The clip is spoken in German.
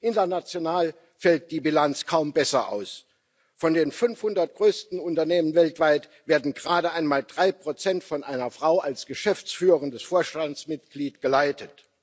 International fällt die Bilanz kaum besser aus Von den 500 größten Unternehmen weltweit werden gerade einmal 3 von einer Frau als geschäftsführendem Vorstandsmitglied geleitet.